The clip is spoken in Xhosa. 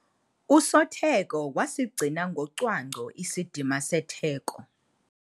Usotheko wasigcina ngocwangco isidima setheko.